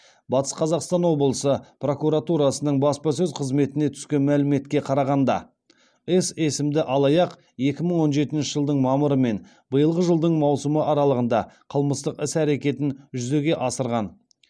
батыс қазақстан облысы прокуратурасының баспасөз қызметіне түскен мәліметке қарағанда с есімді алаяқ екі мың он жетінші жылдың мамыры мен биылғы жылдың маусымы аралығында қылмыстық іс әрекетін жүзеге асырған